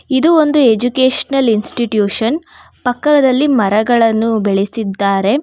ಇದು ಒಂದು educational institution ಪಕ್ಕದಲ್ಲಿ ಮರಗಳನ್ನು ಬೆಳೆಸಿದ್ದಾರೆ.